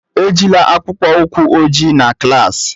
Ejila akpụkpọ ụkwụ ojii na klas!